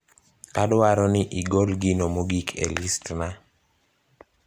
adwaro ni igol gino mogik e listna